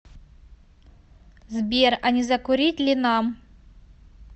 сбер а не закурить ли нам